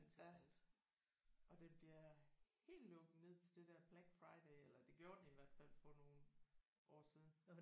Ja og den bliver helt lukket ned til det der Black Friday eller det gjorde den i hvert fald for nogle år siden